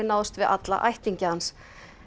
náðst við alla ættinga hans